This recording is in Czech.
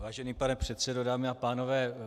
Vážený pane předsedo, dámy a pánové.